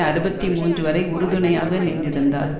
அறுபத்தி மூன்று வரை உறுதுணையாக நின்றிருந்தார்